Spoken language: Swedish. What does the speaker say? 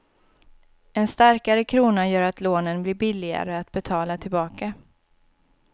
En starkare krona gör att lånen blir billigare att betala tillbaka.